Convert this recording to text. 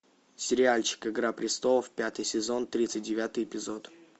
сериальчик игра престолов пятый сезон тридцать девятый эпизод